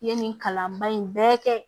I ye nin kalanba in bɛɛ kɛ